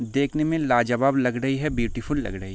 देखने में लाजवाब लग रहे है ब्यूटीफुल लग रहे --